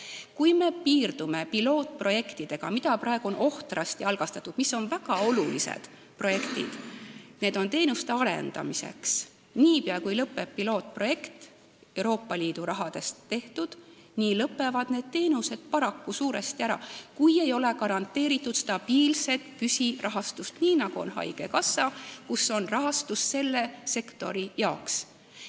Kui me piirdume pilootprojektidega, mida praegu on ohtrasti algatatud ja mis on teenuste arendamisel väga olulised, siis tuleb arvestada, et niipea kui lõpeb pilootprojekt, mida tehakse Euroopa Liidu rahaga, nii lõpevad ka need teenused paraku suuresti ära, kui ei ole garanteeritud stabiilset püsirahastust, nii nagu on haigekassa rahastus, kust seda sektorit rahastatakse.